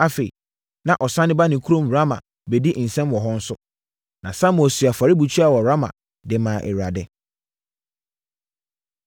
Afei, na ɔsane ba ne kurom Rama bɛdi nsɛm wɔ hɔ nso. Na Samuel sii afɔrebukyia wɔ Rama de maa Awurade.